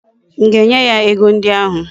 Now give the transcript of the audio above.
M ga-enye ya ego ndi ahu?